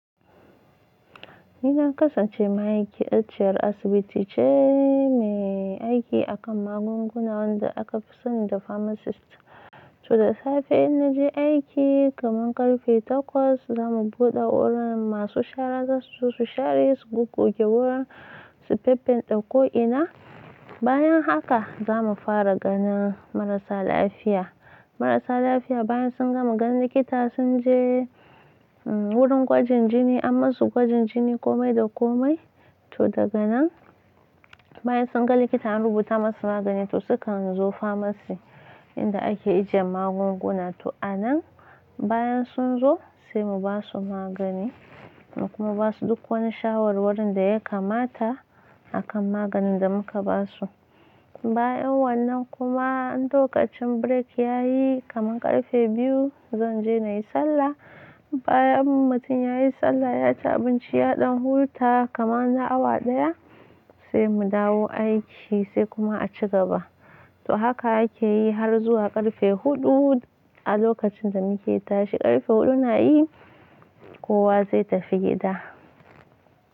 Ni na kasance ma'aikaciyar asibiti ce mai aiki a kan magunguna wanda aka fi sani da pharmacist. To da safe in naje aiki kaman karfe takwas za mu buɗe wurin masu shara, za su su share, su goggoge wurin, tattanɗe ko ina. Bayan haka za mu fara ganin marasa lafiya. Marasa lafiya bayan sun gama ganin likita sun je wurin gwajin jini an masu gwajin jini komai da komai. To daga nan bayan sun ga likita an rubuta masu magani to sukan zo pharmacy inda ake ijiye magunguna. To a nan bayan sun zo sai mu ba su magani kuma ba su duk wani shawarwarin da ya kamata a kan maganin da muka ba su. Bayan wannan kuma in lokacin break yayi kaman karfe biyu zan je na yi sallah. Bayan mutum ya yi sallah, ya ci abinci ya ɗan huta kaman na awa ɗaya sai mu dawo aiki sai kuma a ci gaba. To haka akeyi har zuwa karfe huɗu. A lokacin da muke tashi karfe huɗu na yi kowa zai tafi gida.